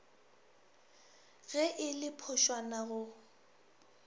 ge e le phošwana go